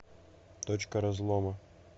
точка разлома